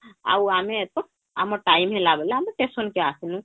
ଆଉ ଆମେ ଏରକ ଆମ time ହେଲା ବୋଲିକେ ଆମେ station କେ ଆସିଲୁ